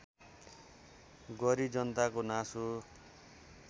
गरी जनताको नासो